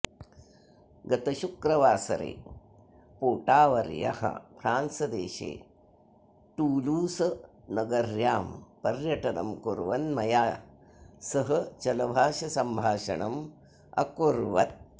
गतशुक्रवासरे पोटावर्यः फ़्रान्सदेशे टूलूसनगर्यां पर्यटनं कुर्वन् मया सह चलभाषसंभाषणं अकुर्वत्